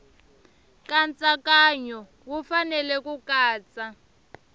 nkatsakanyo wu fanele ku katsa